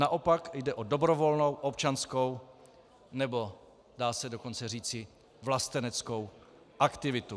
Naopak jde o dobrovolnou občanskou, nebo dá se dokonce říci vlasteneckou aktivitu.